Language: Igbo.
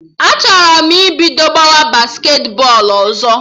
Achọrọ m ibido gbawara basketi bọọlụ ọzọ